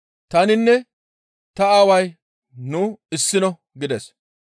Taninne ta aaway nu issino» gides.